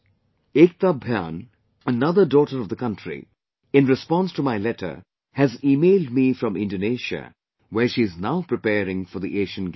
Ekta Bhyan, another daughter of the country, in response to my letter, has emailed me from Indonesia, where she is now preparing for the Asian Games